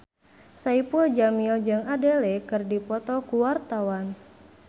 Saipul Jamil jeung Adele keur dipoto ku wartawan